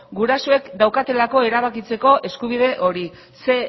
gurasoek daukatelako erabakitzeko eskubide hori zein